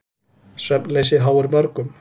Svefnleysi háir mörgum.